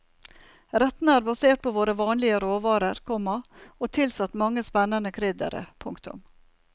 Rettene er basert på våre vanlige råvarer, komma og tilsatt mange spennende kryddere. punktum